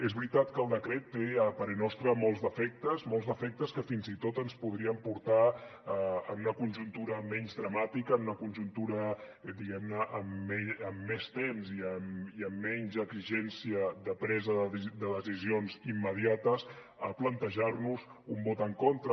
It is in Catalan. és veritat que el decret té a parer nostre molts defectes molts defectes que fins i tot ens podrien portar en una conjuntura menys dramàtica en una conjuntura diguem ne amb més temps i amb menys exigència de presa de decisions immediates a plantejar nos un vot en contra